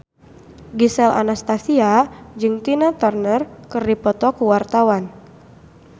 Gisel Anastasia jeung Tina Turner keur dipoto ku wartawan